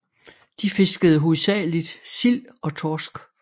De fiskede hovedsageligt sild og torsk